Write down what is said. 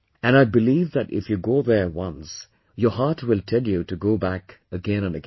And I believe that if you go there once, your heart will tell you to go back again and again